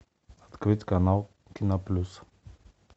открыть канал киноплюс